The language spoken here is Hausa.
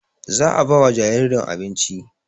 Za a bai wa jaririn abinci